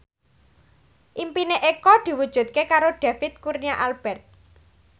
impine Eko diwujudke karo David Kurnia Albert